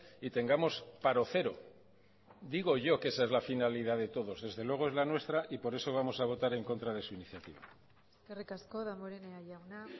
y tengamos paro cero digo yo que esa es la finalidad de todos desde luego es la nuestra y por eso vamos a votar en contra de su iniciativa eskerrik asko damborenea jauna